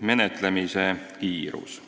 menetlemise kiirus.